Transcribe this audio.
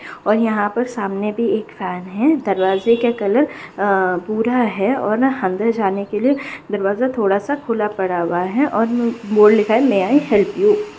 और यहां पर सामने भी एक फैन है दरवाज़े का कलर भूरा है और अंदर जाने के लिए दरवाज़ा थोड़ा सा खुला पड़ा हुआ है और बोर्ड लिखा हुआ है में ऑय हेल्प यू |